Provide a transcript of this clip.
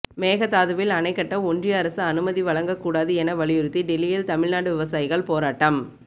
மேகதாதுவில் அணை கட்ட ஒன்றிய அரசு அனுமதி வழங்க கூடாது என வலியுறுத்தி டெல்லியில் தமிழ்நாடு விவசாயிகள் போராட்டம்